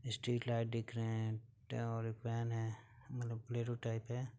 Street light दिख रहे हैं त और एक वैन है मतलन बुलेरो टाइप है।